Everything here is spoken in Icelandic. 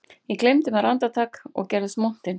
Ég gleymdi mér andartak og gerðist montinn